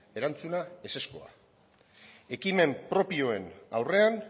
erantzuna ezezkoa ekimen propioen aurrean